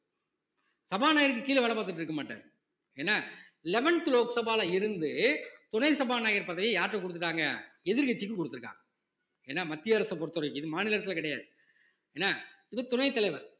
சபாநாயகருக்கு கீழ வேலை பார்த்துட்டு இருக்க மாட்டாரு என்ன eleventh லோக்சபால இருந்து துணை சபாநாயகர் பதவியை யார்கிட்ட கொடுத்துட்டாங்க எதிர்க்கட்சிக்கு கொடுத்திருக்காங்க என்னா மத்திய அரசை பொறுத்தவரைக்கும் இது மாநில அரசுல கிடையாது என்ன இது துணைத் தலைவர்